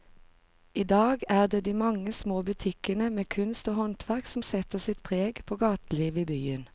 I dag er det de mange små butikkene med kunst og håndverk som setter sitt preg på gatelivet i byen.